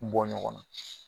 Bɔ ɲɔgɔn na